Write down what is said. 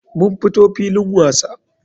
Mun fito filin wasa.